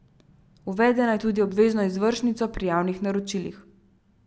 Uvede naj tudi obvezno izvršnico pri javnih naročilih.